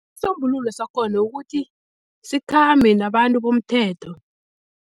Isisombululo sakhona ukuthi sikhambe nabantu bomthetho.